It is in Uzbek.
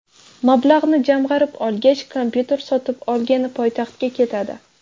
Mablag‘ni jamg‘arib olgach, kompyuter sotib olgani poytaxtga ketadi.